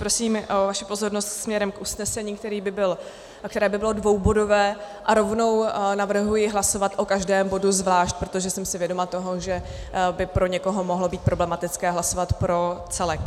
Prosím o vaši pozornost směrem k usnesení, které by bylo dvoubodové, a rovnou navrhuji hlasovat o každém bodu zvlášť, protože jsem si vědoma toho, že by pro někoho mohlo být problematické hlasovat pro celek.